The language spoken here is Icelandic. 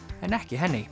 en ekki